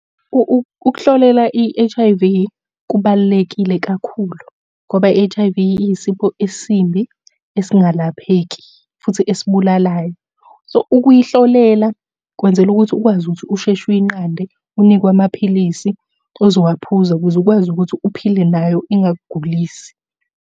Ukuhlolela i-H_I_V, kubalulekile kakhulu ngoba i-H_I_V iyisipho esimbi esingalapheki, futhi esibulalayo. So, ukuyihlolela kwenzela ukuthi ukwazi ukuthi usheshe uyinqande, unikwe amaphilisi ozowaphuza ukuze ukwazi ukuthi uphile nayo ingakugulisi.